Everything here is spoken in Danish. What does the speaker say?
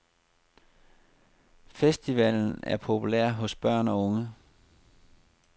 Festivalen er populær hos børn og unge.